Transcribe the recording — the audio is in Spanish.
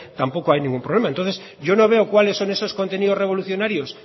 tampoco hay ningún problema entonces yo no veo cuáles son esos contenidos revolucionarios